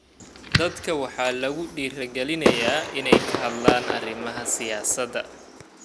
Dadka waxaa lagu dhiirigelinayaa inay ka hadlaan arrimaha siyaasadda.